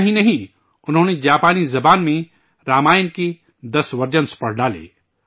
اتنا ہی نہیں، انہوں نے جاپانی زبان میں رامائن کے 10 ورژن پڑھ ڈالے